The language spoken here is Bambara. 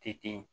Tɛ ten